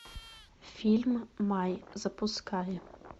фильм май запускай